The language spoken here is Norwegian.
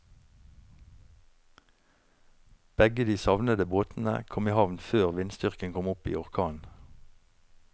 Begge de savnede båtene kom i havn før vindstyrken kom opp i orkan.